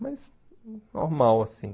Mas, normal, assim.